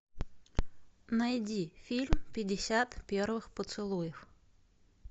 найди фильм пятьдесят первых поцелуев